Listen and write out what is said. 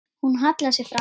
Hún hallar sér fram.